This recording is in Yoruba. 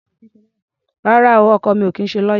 Rárá o, ọkọ mi ò kì í ṣe lọ́yá.